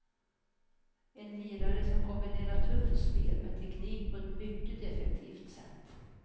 En lirare som kombinerar tufft spel med teknik på ett mycket effektivt sätt.